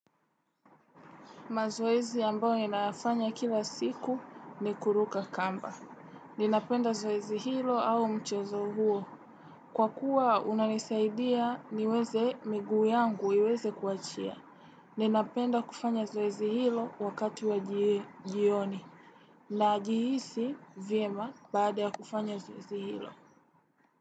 Mazoezi ambao ninayafanya kila siku ni kuruka kamba. Ninapenda zoezi hilo au mchezo huo. Kwa kuwa unanisaidia niweze miguu yangu iweze kuachia. Ninapenda kufanya zoezi hilo wakati wa jioni. Najihisi vyema baada ya kufanya zoezi hilo.